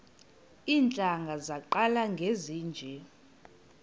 iintlanga zaqala ngezinje